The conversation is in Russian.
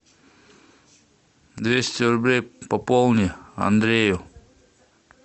двести рублей пополни андрею